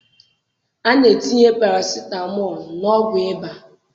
A na-etinye parasitamọl n'ọgwụ ịba.